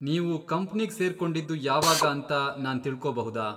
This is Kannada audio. ನೀವು ಕಂಪ್ನಿಗ್ ಸೇರ್ಕೊಂಡಿದ್ದು ಯಾವಾಗ ಅಂತ ನಾನ್ ತಿಳ್ಕೊಬಹುದಾ?